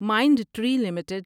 mind Tree limited